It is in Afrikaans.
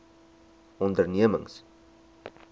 ondernemings